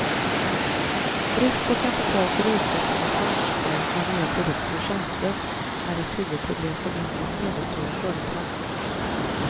Brist på kapital för utveckling och marknadsföring av nya produkter och tjänster är ett huvudproblem för mindre och medelstora företag.